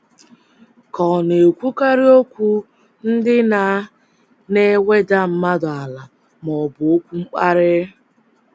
Ka ọ̀ na - ekwukarị okwu ndị na na - eweda mmadụ ala ma ọ bụ okwu mkparị?